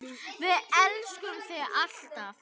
Við elskum þig alltaf.